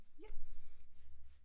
Ja